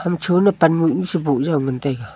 hamchu nu panmuh nu sabuh yoi ngantega.